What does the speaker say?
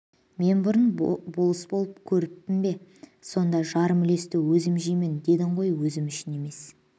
мен бұрын болыс болып көріппін бе сонда жарым үлесті өзім жеймін дедің ғой өзім үшін емес